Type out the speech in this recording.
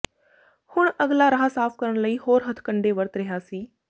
ਹੁਣ ਅਗਲਾ ਰਾਹ ਸਾਫ ਕਰਨ ਲਈ ਹੋਰ ਹੱਥ ਕੰਡੇ ਵਰਤ ਰਿਹਾ ਸੀ